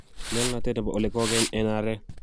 nyalunatet nebo ole kogeny en arek